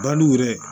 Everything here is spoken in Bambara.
Dal'u yɛrɛ ye